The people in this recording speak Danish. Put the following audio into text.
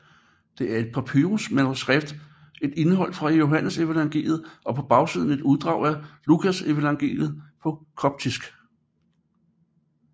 Det er et papyrus manuskript med et indhold fra Johannesevangeliet og på bagsiden et uddrag af Lukasevangeliet på koptisk